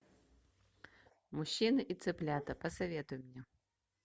мужчины и цыплята посоветуй мне